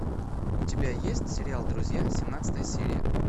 у тебя есть сериал друзья семнадцатая серия